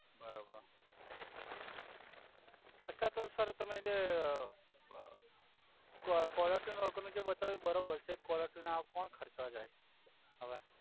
બરોબર અછા તો સર તમે જે કો કોલર ટ્યુન વગર નુ જે બતાવ્યુ એ બરોબર છે કોલર ટ્યુન હવે કોણ ખરચવા જાય હવે